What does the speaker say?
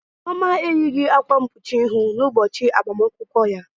Chioma eyighị akwa mkpuchi ihu n'ụbọchị agbamakwụkwọ ya.